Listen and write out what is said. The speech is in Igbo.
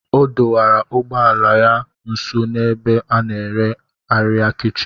Ọ dọwara ụgbọ ala ya nso n'ebe a na-ere arịa kichin